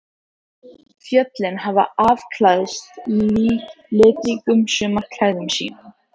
Fjöllin hafa afklæðst litríkum sumarklæðum sínum.